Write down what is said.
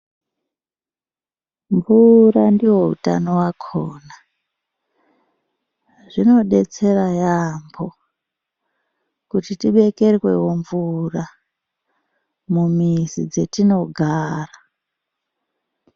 Mvura ndiwo utano waakhona. Zvinodetsera yaamho kuti tibekerwewo mvura mumizi dzetinogara.